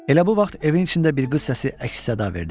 Elə bu vaxt evin içində bir qız səsi əks-səda verdi.